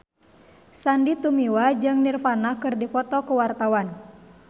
Sandy Tumiwa jeung Nirvana keur dipoto ku wartawan